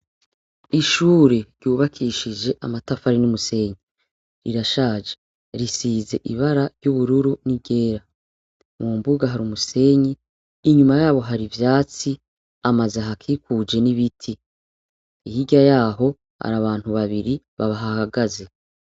Ishure ryubakishije amatafari n'umusenyi rirashaje risize ibara ry'ubururu n'igera mwu mbuga hari umusenyi inyuma yabo hari ivyatsi amaze ahakikuje n'ibiti ihirya yaho hari abantu babiri babahahagaze.